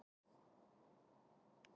Sama gilti um orðið fóstra.